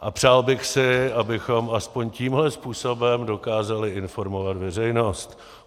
A přál bych si, abychom aspoň tímhle způsobem dokázali informovat veřejnost.